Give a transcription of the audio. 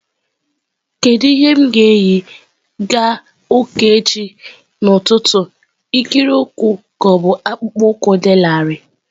Kedu ihe m ga-eyi na ụka echi ụtụtụ ikiri ụkwụ bụ akpụkpọ ụkwụ dị larịị?